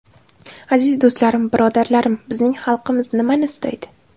Aziz do‘stlarim, birodarlarim, bizning xalqimiz nimani istaydi?